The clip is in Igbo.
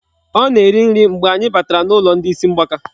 Ọ na-eri nri mgbe anyị batara n'ụlọ ndị isi mgbaka.